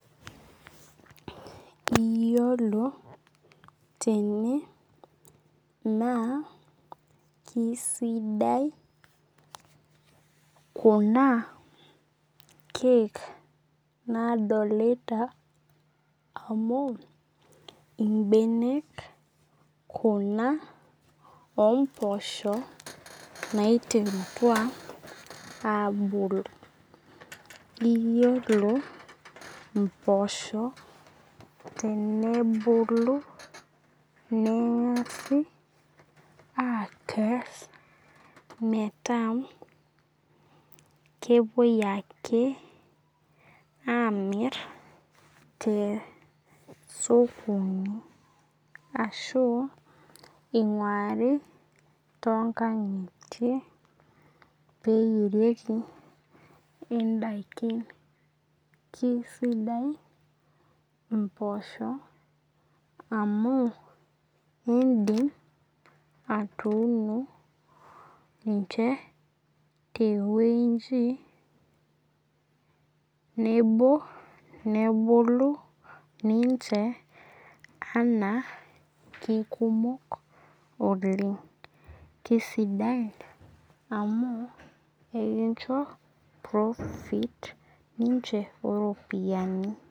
Iyiolo tene naa kisidai kuna keek nadolita amu ibenek kuna oo mposho naiteritua abulu. Iyiolo imposho tenebulu neng'asi akes meeta kepuoi ale amir tee sokonj ashu ing'ari too nkang'itie peyie eyieriki idaikin. Kisidai impoosho amu idim atuuno ninche te weji nebo nebulu ninche anaa kikumok oleng'. Kisidai amu ikincho profit ninche oo ropiani.